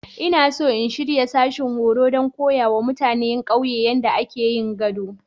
Ina so in shirya sashin horo don koya wa mutanen ƙauyena yadda ake yin gado.